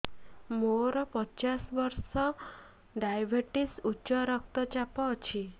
ମୋର ପଚାଶ ବର୍ଷ ଡାଏବେଟିସ ଉଚ୍ଚ ରକ୍ତ ଚାପ ଅଛି